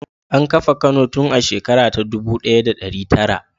An kafa Kano tun a shekara ta dubu ɗaya da ɗari tara.